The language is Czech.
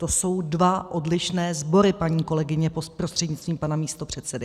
To jsou dva odlišné sbory, paní kolegyně prostřednictvím pana místopředsedy.